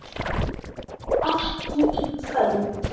ekki í kvöld.